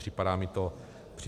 Připadá mi to divné.